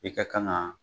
I ka kan ga